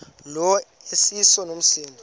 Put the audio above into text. lo iseso msindo